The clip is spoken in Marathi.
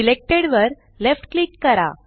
सिलेक्टेड वर लेफ्ट क्लिक करा